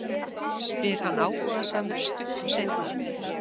spyr hann áhugasamur stuttu seinna.